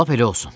Lap elə olsun.